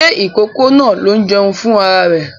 Ṣé ìkókó náà ló ń jẹun fún ra rẹ̀?